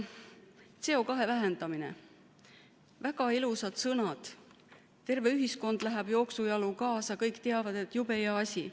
CO2 vähendamine – väga ilusad sõnad, terve ühiskond läheb jooksujalu kaasa, kõik teavad, et jube hea asi.